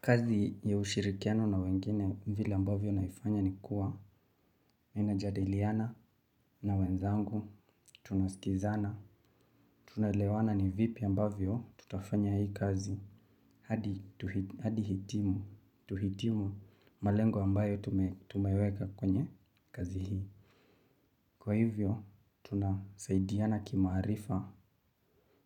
Kazi ya ushirikiano na wengine vile ambavyo naifanya ni kuwa, ninajadeliana na wenzangu, tunasikizana, tunaelewana ni vipi ambavyo tutafanya hii kazi, hadi tuhitimu malengo ambayo tumeweka kwenye kazi hii. Kwa hivyo, tunasaidiana kimaarifa,